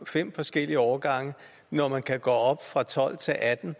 fem forskellige årgange når man kan gå op fra tolv til atten